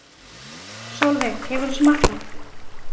Sólveig: Hefur þú smakkað?